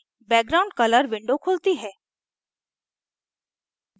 background colour window खुलती है